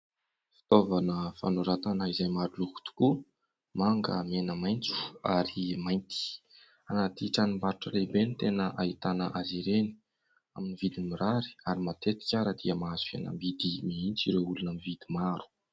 Fitaovana fanoratana izay maro loko tokoa : manga, mena, maitso ary mainty. Anaty tranom_barotra lehibe no tena ahitana azy ireny ; amin'ny vidiny mirary ary matetika ary dia mahazo fihenam_bidy mihitsy ireo olona mividy maro.